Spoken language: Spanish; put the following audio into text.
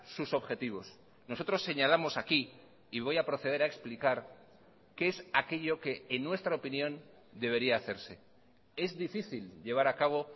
sus objetivos nosotros señalamos aquí y voy a proceder a explicar qué es aquello que en nuestra opinión debería hacerse es difícil llevar a cabo